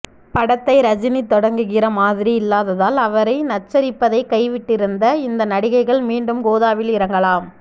படத்தை ரஜினி தொடங்குகிற மாதிரி இல்லாததால் அவரைநச்சரிப்பதை கைவிட்டிருந்த இந்த நடிகைகள் மீண்டும் கோதாவில் இறங்கலாம்